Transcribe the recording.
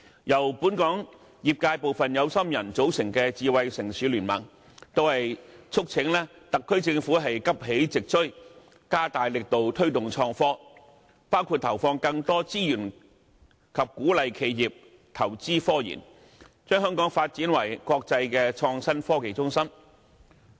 由本港業界部分有心人組成的香港智慧城市聯盟，促請特區政府急起直追，加大力度推動創新科技，包括投放更多資源及鼓勵企業投資科研，將香港發展為國際創新科技中心。